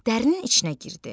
Dərinin içinə girdi.